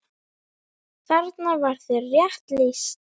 Þarna var þér rétt lýst.